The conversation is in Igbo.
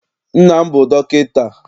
Nna m bụ dọkịta.